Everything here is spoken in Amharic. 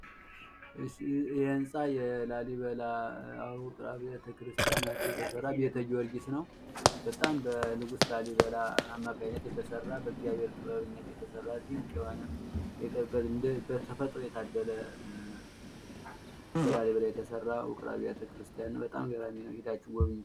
ይህ ህንጻ የላሊበላ ውቅር አብያተ ክርስቲያን ቤተ-ጊወርጊስ ቤተ-ክርስቲያን ነው። በጣም በንጉስ ላሊበላ አማካኝነት የተሰራ በእግዚአብሔር ቸርነት የተሰራ ድንቅ የሆነ በተፈጥሮ የታደለ በላሊበላ የተሰራ ውቅር አብያተ-ክርስቲያን ነው። በጣም ሂዳችሁ ጎብኙት።